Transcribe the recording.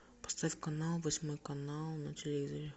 поставь канал восьмой канал на телевизоре